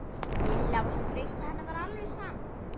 Lilla var svo þreytt að henni var alveg sama.